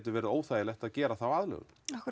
verið óþægilegt að gera þá aðlögun